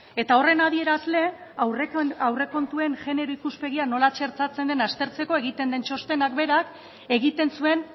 eta horren adierazle aurrekontuen genero ikuspegia nola txertatzen den aztertzeko egiten den txostenak berak egiten zuen